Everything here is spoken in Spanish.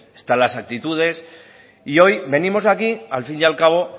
están las actitudes y hoy venimos aquí al fin y al cabo